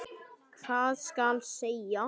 Hvað skal segja?